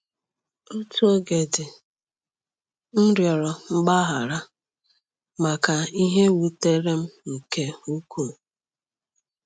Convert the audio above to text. Otu oge di m rịọrọ mgbaghara maka ihe wutere m nke ukwuu.